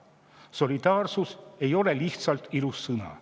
Solidaarsus ei ole lihtsalt ilus sõna.